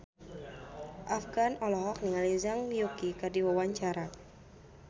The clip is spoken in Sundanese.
Afgan olohok ningali Zhang Yuqi keur diwawancara